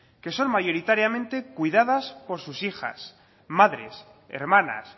que son mayoritariamente cuidadas por sus hijas madres hermanas